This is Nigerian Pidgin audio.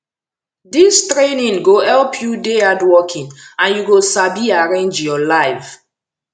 dis training go help you dey hardworking and you go sabi arrange your life